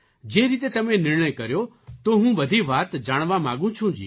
જે રીતે તમે નિર્ણય કર્યો તો હું બધી વાત જાણવા માગું છું જી